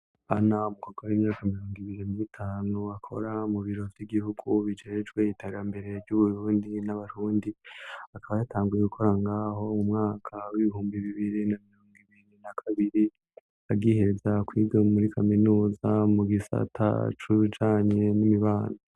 Ana mukobwa w'imyaka mirungo ibiri m 'itanu akora mu biro vy'igihugu bicejwe itera mbere ry'uburundi n'abarundi akaba yatangwiye gukora ngaho mu mwaka w'ibihumbi bibiri na mirungu ibindi na kabiri agiheza kuide muri kaminuza mu gisa atacujanye n'imibano.